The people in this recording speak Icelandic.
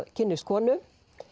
kynnist konu